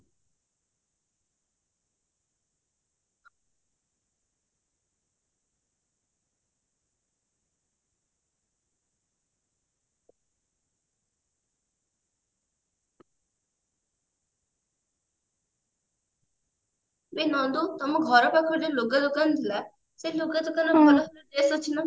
ଏ ନନ୍ଦୁ ତମ ଘର ପାଖରେ ଯୋଉ ଲୁଗା ଦୋକାନ ଥିଲା ସେ ଲୁଗା ଦୋକାନ dress ଅଛି ନା